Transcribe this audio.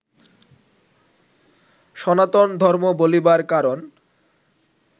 সনাতন ধর্ম বলিবার কারণ